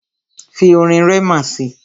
Fi orin Rema si!